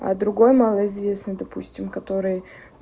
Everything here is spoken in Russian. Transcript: а другой малоизвестный допустим который